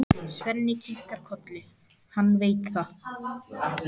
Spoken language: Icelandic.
Svenni kinkar kolli, hann veit það.